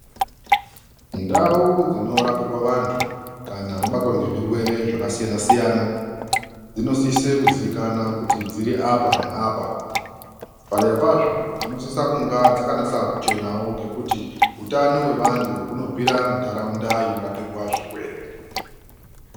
Ndau dzinorapirwa vantu kana vabatwa ngezvirwere zvakasiyana siyana dzinosise kuzivikanwa kuti dziri apa neapa padera pazvo dzinosisa kunga dzakanasa kuchenawo ngekuti utano hwunobvira mundaraunda inorapwa zvirwere.